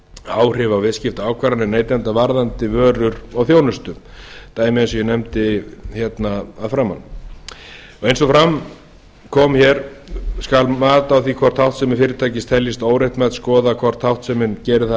áhrif á viðskiptaákvarðanir neytenda varðandi vörur og þjónustu dæmi eins og ég nefndi hérna að framan eins og fram kom hér skal mat á því hvort háttsemi fyrirtækis teljist óréttmæt skoða hvort háttsemin gerir það að